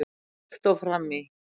Líkt og fram í